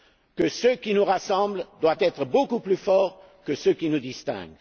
Que ce qui nous rassemble doit être beaucoup plus fort que ce qui nous distingue.